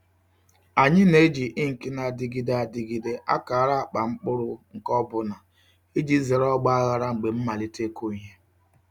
Anyị na-eji ink na-adịgide adịgide akara akpa mkpụrụ nke ọ bụla iji zere ọgba aghara mgbe ịmalite ịkụ ihe.